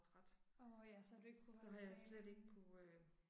Åh ja, så har du ikke kunne holde træningen